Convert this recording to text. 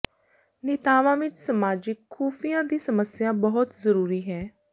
ਨੇਤਾਵਾਂ ਵਿਚ ਸਮਾਜਿਕ ਖੁਫੀਆ ਦੀ ਸਮੱਸਿਆ ਬਹੁਤ ਜ਼ਰੂਰੀ ਹੈ